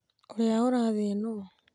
ũrĩa ũrathiĩ nũũ?